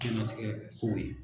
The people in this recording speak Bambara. Jɛnlatigɛ kow ye.